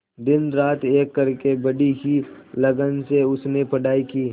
दिनरात एक करके बड़ी ही लगन से उसने पढ़ाई की